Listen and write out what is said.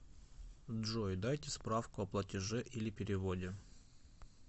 джой дайте справку о платеже или переводе